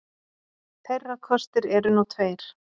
Þeirra kostir eru nú tveir